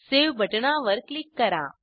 save बटणावर click करा